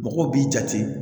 Mɔgɔw b'i jate